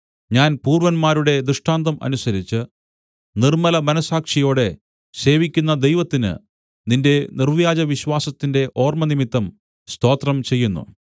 ഞാൻ പൂർവ്വന്മാരുടെ ദൃഷ്ടാന്തം അനുസരിച്ച് നിർമ്മലമനസ്സാക്ഷിയോടെ സേവിക്കുന്ന ദൈവത്തിന് നിന്റെ നിർവ്യാജവിശ്വാസത്തിന്റെ ഓർമ്മ നിമിത്തം സ്തോത്രം ചെയ്യുന്നു